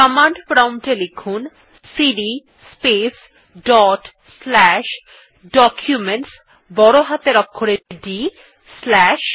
command prompt এ লিখুন CD space dot slash Documentsবড় হাতের অক্ষরে ডি স্লাশ